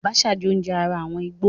Àbàṣà jẹ́ oúnjẹ ará àwọn ìgbò.